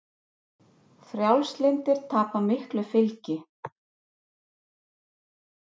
Frjálslyndir tapa miklu fylgi